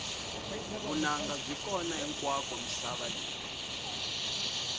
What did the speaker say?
vunanga byi kona hinkwako misava leyi